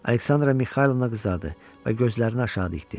Aleksandra Mixaylovna qızardı və gözlərini aşağı dikdi.